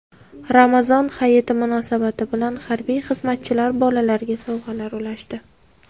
Ramazon Hayiti munosabati bilan harbiy xizmatchilar bolalarga sovg‘alar ulashdi.